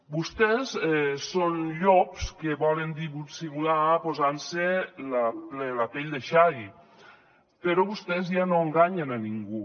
vostès són llops que volen dissimular posant se la pell de xai però vostès ja no enganyen ningú